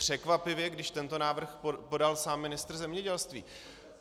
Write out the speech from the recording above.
Překvapivě, když tento návrh podal sám ministr zemědělství.